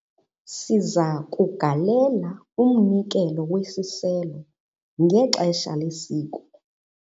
siza kugalela umnikelo wesiselo ngexesha lesiko